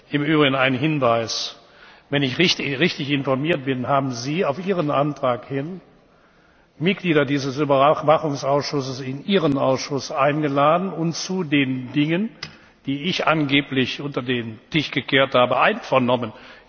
Im Übrigen ein Hinweis Wenn ich richtig informiert bin, haben Sie auf Ihren Antrag hin Mitglieder dieses Überwachungsausschusses in Ihren Ausschuss eingeladen und zu den Dingen, die ich angeblich unter den Tisch gekehrt habe, einvernommen.